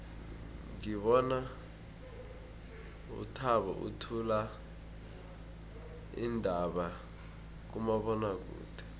ngibona uthabo uthula iindaba kumabonwakude